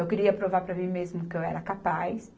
Eu queria provar para mim mesma que eu era capaz.